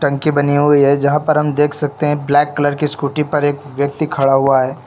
उनकी बनी हुई है जहां पर देख सकते हैं ब्लैक कलर की स्कूटी पर एक व्यक्ति खड़ा हुआ है।